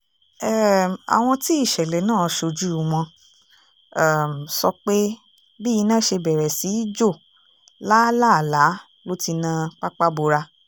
um àwọn tí ìṣẹ̀lẹ̀ náà ṣojú wọn um sọ pé bí iná ṣe bẹ̀rẹ̀ sí í jó lálàálá ló ti na pàpabọ́ra